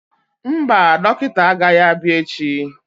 Mba, dọkịta agaghị abịa echi